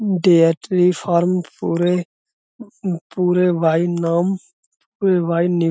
they are tree farm पूरे --